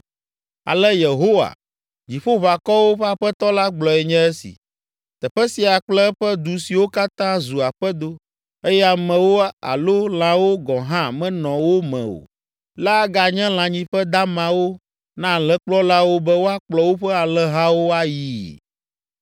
“Ale Yehowa, Dziƒoʋakɔwo ƒe Aƒetɔ la gblɔe nye esi: ‘Teƒe sia kple eƒe du siwo katã zu aƒedo, eye amewo alo lãwo gɔ̃ hã menɔ wo me o la aganye lãnyiƒe damawo na alẽkplɔlawo be woakplɔ woƒe alẽhawo ayii.